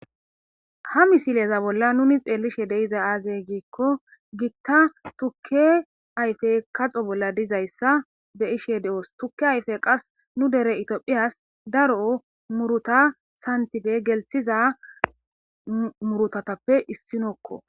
ha misileza bolla nuni xeellishe deiza aazey giikko gitta tukke ayfe kaxo bolla dizayssa be ishe de7oos tukke ayfe qas nu dere itiophiyas daroo muruta santife gelthiza murutatappe issinokko